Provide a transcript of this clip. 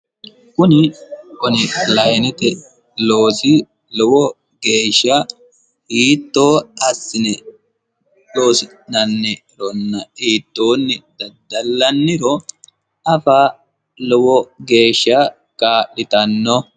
Kuni onlinete loosi lowo geeshsha hiitto assine loosi'nannironna hiittonni daddallaniro afa lowo geeshsha kaa'littano.